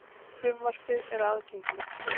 Frumvarpið er aðgengilegt hér